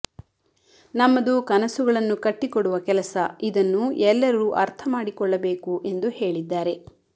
ನಮ್ಮದು ಕನಸುಗಳನ್ನು ಕಟ್ಟಿ ಕೊಡುವ ಕೆಲಸ ಇದನ್ನು ಎಲ್ಲರೂ ಅರ್ಥ ಮಾಡಿಕೊಳ್ಳಬೇಕು ಎಂದು ಹೇಳಿದ್ದಾರೆ